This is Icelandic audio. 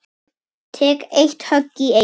Tek eitt högg í einu.